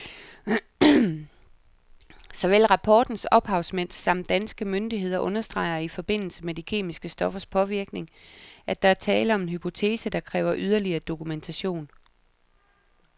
Såvel rapportens ophavsmænd samt danske myndigheder understreger i forbindelse med de kemiske stoffers påvirkning, at der er tale om en hypotese, der kræver yderligere dokumentation.